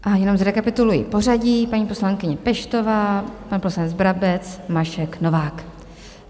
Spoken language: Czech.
A jenom zrekapituluji pořadí: paní poslankyně Peštová, pan poslanec Brabec, Mašek, Novák.